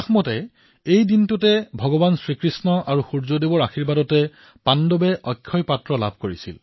এই দিনটোতেই ভগৱান শ্ৰীকৃষ্ণ আৰু ভগৱান সূৰ্যদেৱৰ আশীৰ্বাদত পাণ্ডৱে অক্ষয় পাত্ৰ লাভ কৰিছিল বুলি বিশ্বাস কৰা হয়